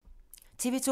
TV 2